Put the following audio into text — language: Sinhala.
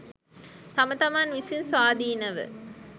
තම තමන් විසින් ස්වාධීනව